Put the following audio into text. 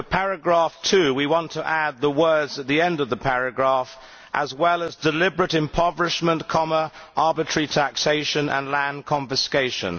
For paragraph 2, we want to add the words at the end of the paragraph, as well as deliberate impoverishment, arbitrary taxation and land confiscation'.